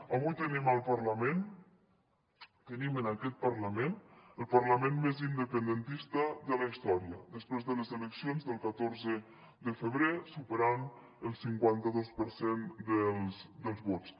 avui tenim al parlament tenim en aquest parlament el parlament més independentista de la història després de les eleccions del catorze de febrer superant el cinquanta dos per cent dels vots